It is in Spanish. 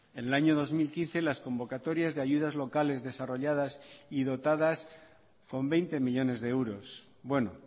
en el año dos mil quince las convocatorias de ayudas locales desarrolladas y dotadas con veinte millónes de euros bueno